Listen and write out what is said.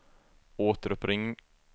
återuppring